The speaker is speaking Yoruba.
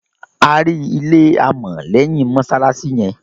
À ri ilẹ̀ àmọ̀ lẹ́yìn mosalasi yẹn.